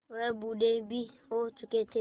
वह बूढ़े भी हो चुके थे